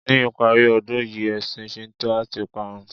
Ní ìparí ọdún yìí ẹ̀sìn Shinto a ti parun.